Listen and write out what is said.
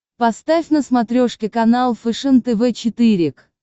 поставь на смотрешке канал фэшен тв четыре к